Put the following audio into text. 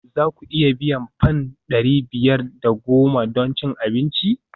Za ku iya biyan fam ɗari biyar da goma don cin abinci?